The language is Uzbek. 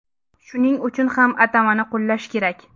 Shuning uchun u atamani qo‘llash kerak.